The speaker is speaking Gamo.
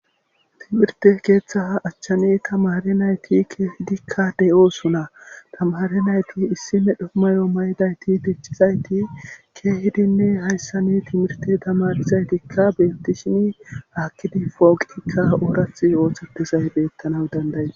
Timirte keeththa achchani tamare nayti keehidikka de7osuna tamare nayti issi medho mayo maydayti pichizayti keehidinne hayssani timirte tamarizaytikka betti shimi hakkidi fooqiikka oorath ooththetizay beettanaw danday